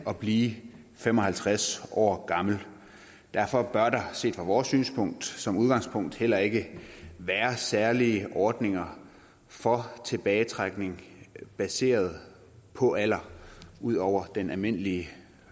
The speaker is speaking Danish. at blive fem og halvtreds år gammel derfor bør der set fra vores synspunkt som udgangspunkt heller ikke være særlige ordninger for tilbagetrækning baseret på alder ud over den almindelige